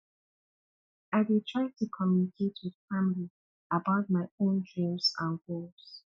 i dey try to communicate with family about my own dreams and goals